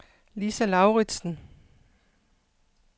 Lisa Lauritsen